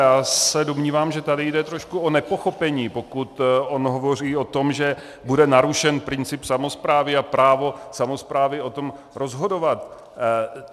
Já se domnívám, že tady jde trošku o nepochopení, pokud on hovoří o tom, že bude narušen princip samosprávy a právo samosprávy o tom rozhodovat.